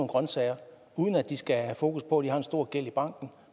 grønsager uden at de skal have fokus på at de har en stor gæld i banken